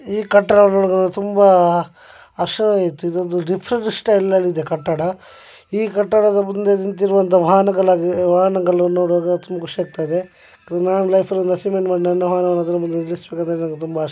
ಈ ಕಟ್ಟಡ ನೋಡುದ್ದಾದ್ರೆ ತುಂಬಾ ಹರ್ಷ ಆಯಿತು ಇದೊಂದು ಕಟ್ಟದ ಈ ಕಟ್ಟಡದ ಮುಂದೆ ನಿಂತಿರುವಂತಹ ವಾಹನಗಳನ್ನು ನೋಡುವಾಗ ತುಂಬಾ ಖುಷಿ ಆಗ್ತದೆ ತುಂಬಾ ಆಶಯ ಇದೆ.